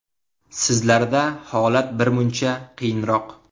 Sizlarda holat birmuncha qiyinroq.